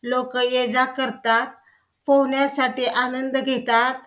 लोक ये जा करतात पोहणीसाठी आनंद घेतात.